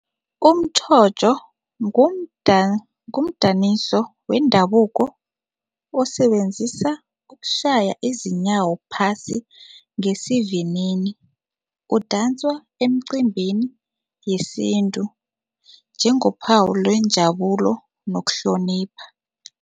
Umtjhotjho ngumdaniso wendabuko osebenzisa ukushaya izinyawo phasi ngesivinini, kudanswa emcimbini yesintu njengophawu lwenjabulo nokuhlonipha.